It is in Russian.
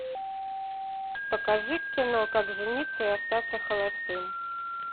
покажи кино как жениться и остаться холостым